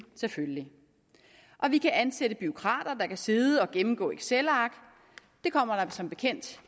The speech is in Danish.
selvfølgelig og vi kan ansætte bureaukrater der kan sidde og gennemgå excelark det kommer der som bekendt